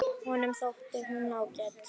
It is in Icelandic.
Honum þótti hún ágæt.